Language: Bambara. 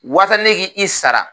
Wasa ne k'i i sara